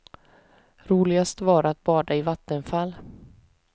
Roligast var att bada i vattenfall.